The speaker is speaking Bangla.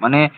ছিল